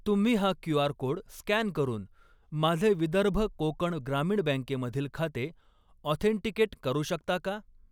तुम्ही हा QR. Code scan करून माझे विदर्भ कोकण ग्रामीण बँके मधील खाते ऑथेंटिकेट करू शकता का?